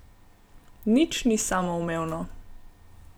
Nič ni samoumevno!